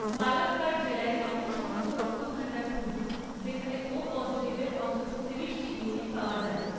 পালাক্কাড় জেলায় এমন সমস্ত রক্তভাণ্ডার খুঁজুন যেখানে ও পসিটিভ এর অন্তত ত্রিশটি ইউনিট পাওয়া যায়